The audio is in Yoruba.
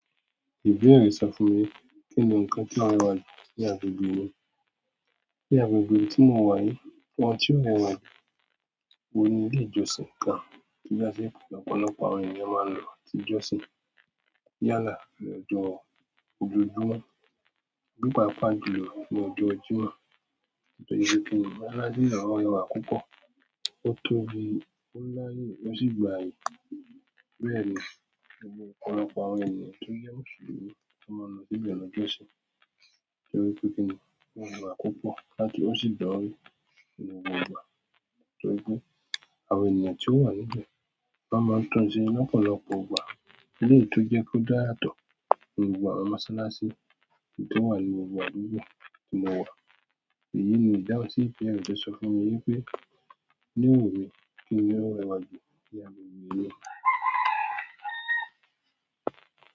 Ìbéèrè sọ fún mi pé kí ni nǹkan tí ó rẹwà ní agbègbè mi. Ní agbègbè tí mo wà ní, ohun tí ó rẹwà òhun ni ilé ìjọsìn kan tí láṣẹ lọ̀pọ̀lọpọ̀ àwọn ènìyàn máa ń lọ sí ìjọsìn. Yálà lọ́jọ́ ojoojúmọ́ ni pàápàá jùlọ ní ọjọ́ Jímọ̀, torí pé kín ní mọsalasi na o rẹwà púpọ̀. Ó tó bí o láyé ó sì gba àyè bẹ́ẹ̀ ni ọ̀pọ̀lọpọ̀ àwọn ènìyàn tó jẹ́ Mùsùlùmí máa ń lọ síbẹ̀ lọ́jọ́ sìn. Torí pé kín ni o rẹwà púpọ̀ láti ó sì gba wí ni gbogbo ìgbà. Torí pé àwọn ènìyàn tí ó wà níbẹ̀ won máa ń tọ́jú ni lọ́pọ̀lọpọ̀ ìgbà, eléyìí tí ó jẹ́ kó dá yàtọ̀ ni gbogbo àwọn mọsalasi èyí tó wà ní gbogbo àdúgbò ní ìgbà yẹn. Èyí ni ìdáhùn sí ìbéèrè tó sọ fún mí wípé "ilé wo ni òhun ni o rẹwà jù ní agbègbè rẹ".